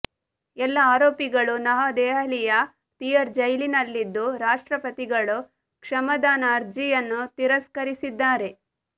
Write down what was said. ಎಲ್ಲಾ ಆರೋಪಿಗಳು ನವದೆಹಲಿಯ ತಿಹಾರ್ ಜೈಲಿನಲ್ಲಿದ್ದು ರಾಷ್ಟ್ರಪತಿಗಳು ಕ್ಷಮಾದಾನ ಅರ್ಜಿಯನ್ನು ತಿರಸ್ಕರಿಸಿದ್ದಾರೆ